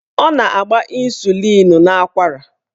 Ọ na-agba ọgwụ ịnsulịn n'akwara.